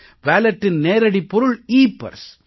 வாலட்டின் நேரடிப் பொருள் எப்பர்ஸ்